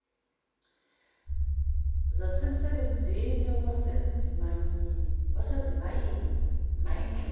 zasemsebenzini wasezimayini mining